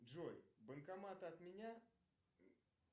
джой банкоматы от меня